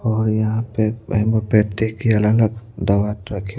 और यहां पे होमयोपैथी की अलग-अलग दवा रख--